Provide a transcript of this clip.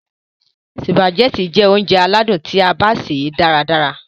Sùpàgẹ́tì jẹ́ óúnjẹ aládìídùn tí a bá ṣè é dára ràrá.